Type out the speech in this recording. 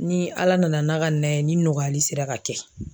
Ni ala nana n'a ka na ye, ni nɔgɔyali sera ka kɛ.